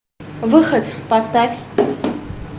выход поставь